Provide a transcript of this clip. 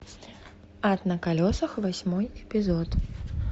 ад на колесах восьмой эпизод